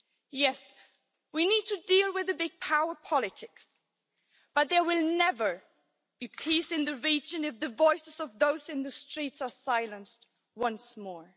Yes, we need to deal with the big power politics, but there will never be peace in the region if the voices of those in the streets are silenced once more.